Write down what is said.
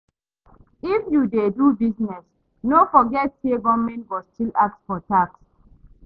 If you dey do business, no forget say government go still ask for tax.